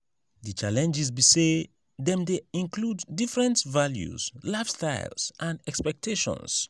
di challenges be say dem dey include diferent values lifestyles and expectations.